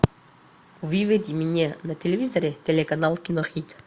выведи мне на телевизоре телеканал кинохит